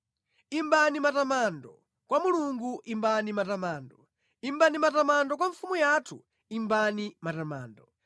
Imbani matamando kwa Mulungu, imbani matamando; imbani matamando kwa mfumu yathu, imbani matamando.